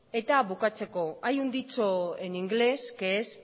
eta bukatzeko hay un dicho en ingles que es